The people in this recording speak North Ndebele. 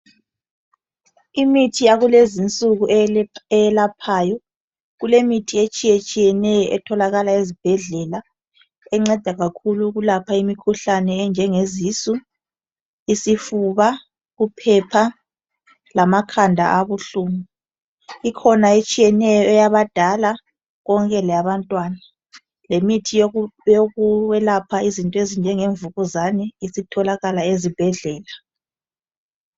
Imithi yakulezi insuku eyelaphayo kulemithi etshiyatshiyeneyo etholakala ezibhedlela enceda kakhulu ukulapha imkhuhlane enjenge zisu, isifuba, uphepha lamakhanda abuhlungu. Ikhona etshiyeneyo eyabadala konke leyabantwana lemithi yokwelapha izinto ezinjenge mvukuzane isitholakala ezibhedlela.